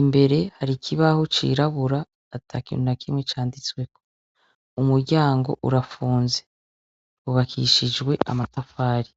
imbere hari ikibaho cirabura atakintu nakimwe canditswemwo, umuryango urafunze ,hubakishijwe amatafari.